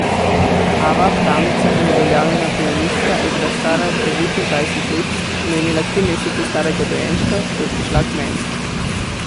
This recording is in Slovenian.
Ava, pravnica in uveljavljena pianistka, je bila stara devetindvajset let in je imela tri mesece starega dojenčka, ko je prišla k meni.